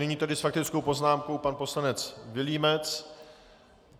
Nyní tedy s faktickou poznámkou pan poslanec Vilímec.